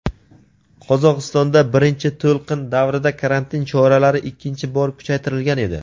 Qozog‘istonda birinchi to‘lqin davrida karantin choralari ikkinchi bor kuchaytirilgan edi.